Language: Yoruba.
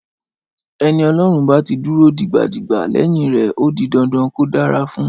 Ẹni Ọlọ́run bá ti dúró digbadigba lẹ́yìn rẹ̀ ó di dandan kó dára fún un.